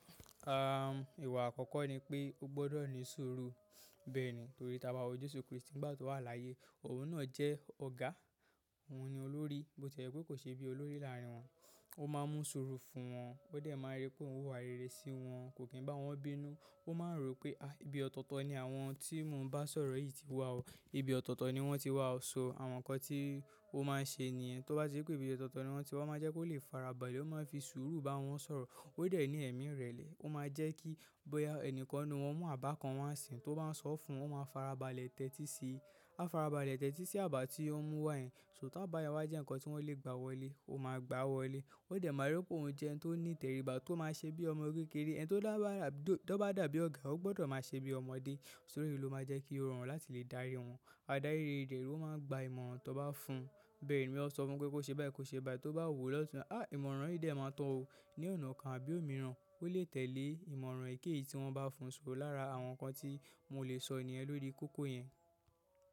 Àn, ìwà àkọ́kọ́ ni pé o gbọ́dọ̀ ní sùúrù. Bẹ́ẹ̀ni torí tí a bá wo Jésù Kristi nígbà tó wà láyé, òun náà jẹ́ ọ̀gá, òun ni olórí, bó ti yẹ pé kò ṣe bí olórí láàrín wọn. O ma n mu suru fún won, o de mari pe oun wa rere si won, ko ki n ba won bínú. Ó máa ń rò pé, ibi ọ̀tọ̀ọ̀tọ̀ ni àwọn tí mò ń bá sọ̀rọ̀ yìí ti wá o. Ibi ọ̀tọ̀ọ̀tọ̀ ni wọ́n ti wá, so àwọn ǹkan tí ó máa ń ṣe nìyẹn. Tóbá ti rí pé ibi ọ̀tọ̀ọ̀tọ̀ ni wọ́n ti wá, máa jẹ́ kó lè farabalẹ̀, ó máa ń fi sùúrù bá wọn sọ̀rọ̀. O de ni emi irele, o ma je ki, boya enikan nu won mu aba kan wa n si, to ba n so fún, o ma farabalẹ̀ te ti si. A farabalẹ̀ tẹ́tí sí àbá tí ó mú wá yẹn. So, ta bá ya wa jẹ́ ǹkan tí wọ́n lè gbá wọlé, ó máa gbáa wọlé. Ó dẹ̀ máa rí pé òun jẹ́ ẹni tó ní ìtẹríba tó máa ń ṣe bí ọmọ kékeré. Ẹni tó bá dàbí ọ̀gá, ó gbọ́dọ̀ máa ṣe bí ọmọdé. Tórí iyìí ló máa ń jẹ́ kí ó rọrùn láti lè darí wọn. Adárí rere ló máa ń gba ìmọ̀ràn tó bá fún ún. Bẹ́ẹ̀ ni, bó yá o sọ fún pé kó ṣe bai, kó ṣe bai. Tó bá wò, à á ìmọ̀ràn yìí dá ẹ́ mọ́ tán o. Ní ọ̀nà kan àbí òmíràn, ó lè tẹ̀lé ìmọ̀ràn èyiké-yìí tí wọ́n bá fún un sugbọ̀n lára àwọn ǹkan tí mò lè sọ nìyẹn lórí kókó yẹn.